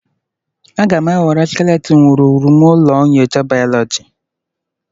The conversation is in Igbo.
Aga m ewere skeleton wuruwuru m ụlọ nyocha bayoloji